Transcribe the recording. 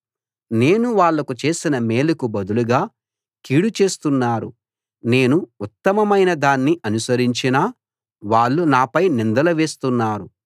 నేను వాళ్లకు చేసిన మేలుకు బదులుగా కీడు చేస్తున్నారు నేను ఉత్తమమైన దాన్ని అనుసరించినా వాళ్ళు నాపై నిందలు వేస్తున్నారు